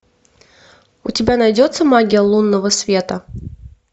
у тебя найдется магия лунного света